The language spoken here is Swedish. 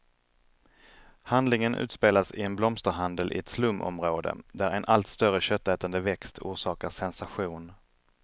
Handlingen utspelas i en blomsterhandel i ett slumområde, där en allt större köttätande växt orsakar sensation.